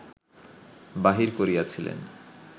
বাহির করিয়াছিলেন